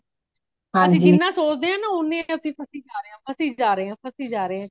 ਅਸੀਂ ਜਿਨ੍ਹਾਂ ਸੋਚਦੇ ਹਾਂ ਓਨਾ ਅਸੀ ਫਸੇ ਜਾ ਰਹੇ ਹਾਂ ਫਸੇ ਜਾ ਰਹੇ ਹਾਂ